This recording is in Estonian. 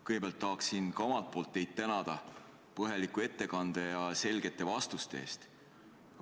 Kõigepealt tahan ka omalt poolt tänada teid põhjaliku ettekande ja selgete vastuste eest!